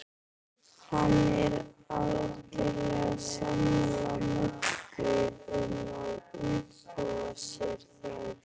Hann er algerlega sammála Möggu um að úrbóta sé þörf.